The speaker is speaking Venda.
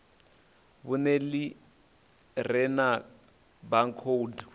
vhuṅe ḽi re na baakhoudu